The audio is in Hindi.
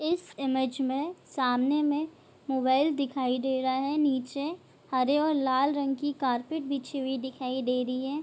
इस इमेज में सामने में मोबाइल दिखाई दे रहा है नीचे हरे और लाल रंग की कारपेट बिछी हुई दिखाई दे री है।